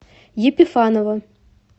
епифанова